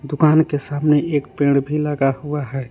दुकान के सामने एक पेड़ भी लगा हुआ है।